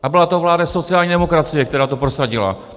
A byla to vláda sociální demokracie, která to prosadila.